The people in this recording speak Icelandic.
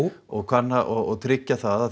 og kanna og tryggja að